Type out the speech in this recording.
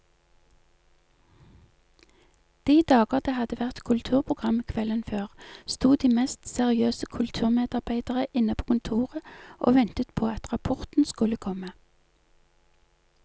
De dager det hadde vært kulturprogram kvelden før, sto de mest seriøse kulturmedarbeidere inne på kontoret og ventet på at rapporten skulle komme.